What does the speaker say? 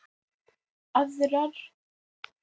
Aðra hefur ekki sakað